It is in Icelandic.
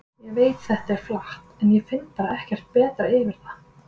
Ég veit þetta er flatt, en ég finn bara ekkert betra yfir það.